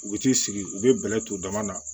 U bɛ t'i sigi u bɛ bɛlɛ ton dama na